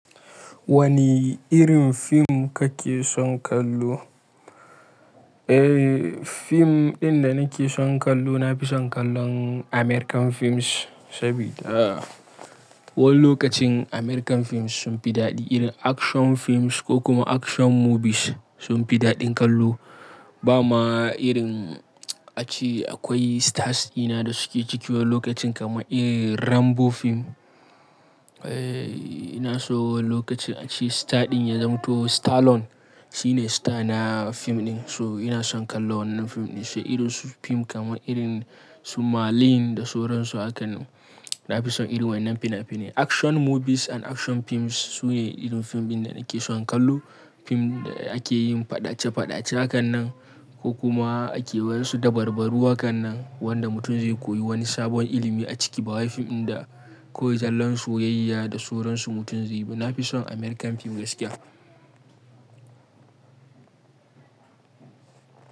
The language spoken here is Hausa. Wani irin fim ka ke son kallo? Eh, fim ɗin da nake son kallo na fi son kallon American films, sabida wani lokacin American films sun fi daɗi. Irin action films ko kuma action movies sun fi daɗin kallo. Ba ma irin a ce akwai stars ina da suke ciki wani lokacin kaman irin Rambo fim. Eh, ina so wani lokacin a ce star ɗin ya zamto Stallone shine star na fim ɗin, so ina son kallo wannan fim ɗin. Sai irin su fim kamar irin su Marlin da sauransu hakan nan. Na fi son irin waƴannan fina-finai. Action movies and action films su ne irin fim ɗin da nake son kallo. Fim da ake yin faɗace-faɗace hakan nan ko kuma ake waƴansu dabarbaru hakan nan wanda mutum zai koyi wani sabon ilimi a ciki. Ba wai fim ɗin da kawai zallan soyayya da sauransu mutum zai bi. Na fi son American fim gaskiya.